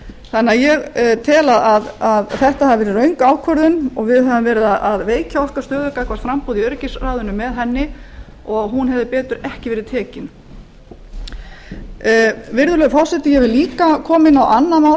d v ég tel að þetta hafi verið röng ákvörðun og að við höfum með henni veikt stöðu okkar gagnvart framboði í öryggisráðinu hún hefði betur ekki verið tekin virðulegur forseti ég vil jafnframt tala um mál